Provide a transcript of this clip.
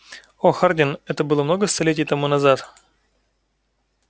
о хардин это было много столетий тому назад